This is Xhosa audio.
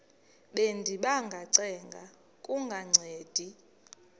bendiba ngacenga kungancedi